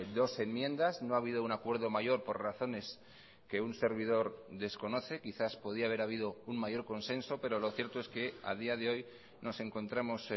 dos enmiendas no ha habido un acuerdo mayor por razones que un servidor desconoce quizás podía haber habido un mayor consenso pero lo cierto es que a día de hoy nos encontramos